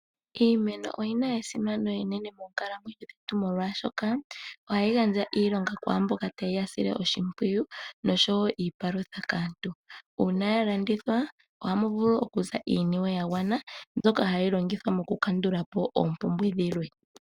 Iimeno oyi na esimano enene moonkalamwenyo dhetu molwashoka, ohayi gandja iilonga kwaa mboka taye yi sile oshimpwiy noshowo iipalutha kaantu. Uuna ya landithwa ohamu vulu okuza iiniwe ya gwana mbyoka hayi longithwa mokukandula po oompumbwe dhilwe.